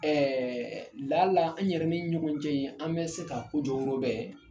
Ɛɛ ladala an yɛrɛ ni ɲɔgɔn cɛ ye an bɛ se ka ko jɔwyɔrɔ bɛn